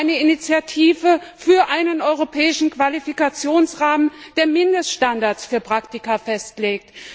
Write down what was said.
Wir wollen eine Initiative für einen europäischen Qualifikationsrahmen, der Mindeststandards für Praktika festlegt.